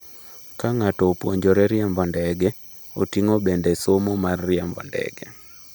Ka ng’ato opuonjore riembo ndege, oting’o bende somo mar riembo ndege.